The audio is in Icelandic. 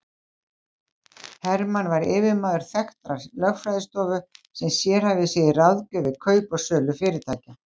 Hermann var yfirmaður þekktrar lögfræðistofu sem sérhæfði sig í ráðgjöf við kaup og sölu fyrirtækja.